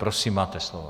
Prosím, máte slovo.